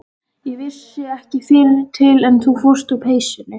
Ég vissi ekki fyrr til en þú fórst úr peysunni.